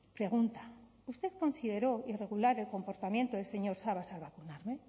pregunta usted consideró irregular el comportamiento del señor sabas al